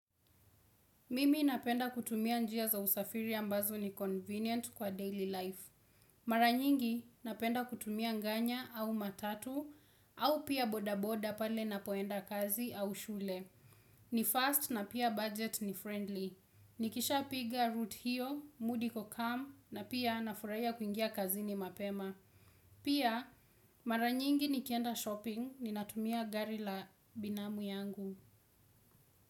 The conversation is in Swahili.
Mimi napenda kutumia njia za usafiri ambazo ni convenient kwa daily life. Mara nyingi, napenda kutumia nganya au matatu au pia bodaboda pale ninapoenda kazi au shule. Ni fast na pia budget ni friendly. Nikisha piga root hiyo, mood iko calm na pia nafurahia kuingia kazini mapema. Pia, mara nyingi nikienda shopping ninatumia gari ya binamu yangu.